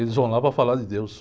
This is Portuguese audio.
Eles vão lá para falar de Deus.